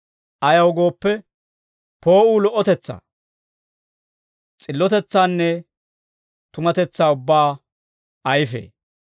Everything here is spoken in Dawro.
Ayaw gooppe, poo'uu lo"otetsaa, s'illotetsaanne tumatetsaa ubbaa ayifee.